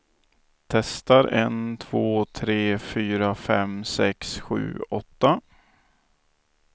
Testar en två tre fyra fem sex sju åtta.